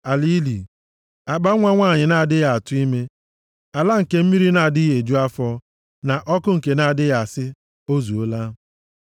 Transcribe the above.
Ala ili, akpanwa nwanyị na-adịghị atụ ime, ala nke mmiri na-adịghị eju afọ, na ọkụ nke na-adịghị asị, ‘O zuola.’